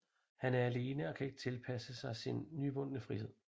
Han er alene og kan ikke tilpasse sig sin nyvundne frihed